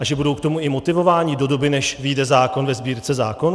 A že budou k tomu i motivováni do doby, než vyjde zákon ve Sbírce zákonů?